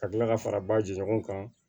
Ka kila ka fara ba ji ɲɔgɔn kan